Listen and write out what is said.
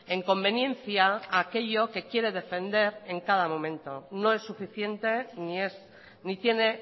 en conveniencia a aquello que quiere defender en cada momento no es suficiente ni es ni tiene